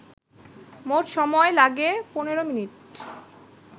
মোট সময় লাগে ১৫মিনিট